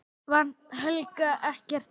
Helga: Ekkert hrædd?